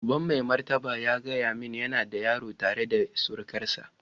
Uban mai martaba ya gaya min yana da yaro tare da surukarsa.